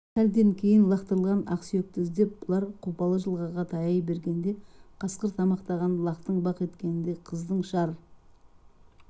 сәлден кейін лақтырылған ақ сүйекті іздеп бұлар қопалы жылғаға таяй бергенде қасқыр тамақтаған лақтың бақ еткеніндей қыздың шар